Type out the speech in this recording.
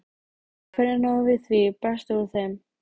Hvernig náum við því besta úr þeim?